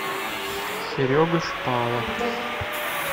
серега шпала